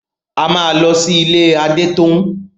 A máa lọ sí ilé Adétóun.